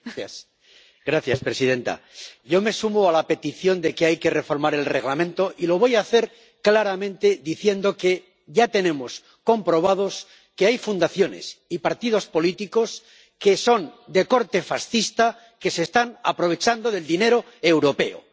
Señora presidenta. Yo me sumo a la petición de que hay que reformar el Reglamento, y lo voy a hacer claramente diciendo que ya tenemos comprobado que hay fundaciones y partidos políticos, que son de corte fascista, que se están aprovechando del dinero europeo.